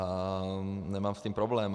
A nemám s tím problém.